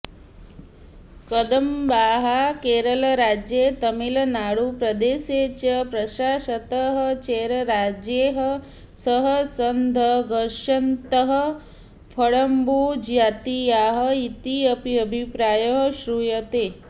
कदम्बाः केरलराज्ये तमिळुनाडुप्रदेशे च प्रशासतः चेरराजैः सह सङ्घर्षन्तः कडम्बुजातीयाः इति अपि अभिप्रायः श्रूयते